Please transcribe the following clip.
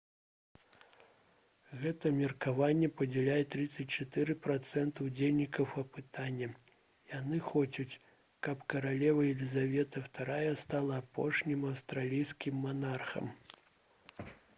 гэтае меркаванне падзяляюць 34 працэнты ўдзельнікаў апытання яны хочуць каб каралева лізавета ii стала апошнім аўстралійскім манархам